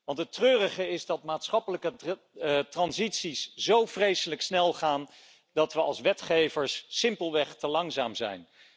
Want het treurige is dat maatschappelijke transities zo vreselijk snel gaan dat we als wetgevers simpelweg te langzaam zijn.